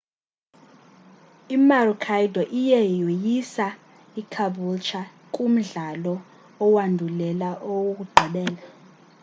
i-maroochydore iye yoyisa icaboolture kumdlalo owandulela owokugqibela